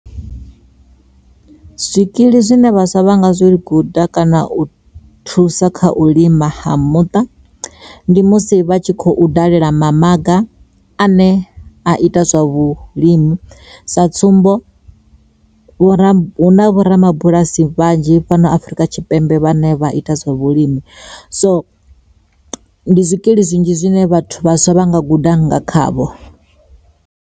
Zwikili zwine vhaswa vhanga zwi guda kana u thusa kha u lima ha muṱa, ndi musi vha tshi khou dalela mamaga ane a ita zwa vhulimi sa tsumbo vho ra hu na vho rabulasi vhanzhi fhano Afurika Tshipembe vhane vha ita zwa vhulimi so ndi zwikili zwinzhi zwine vhathu vhaswa vha nga guda nga khavho.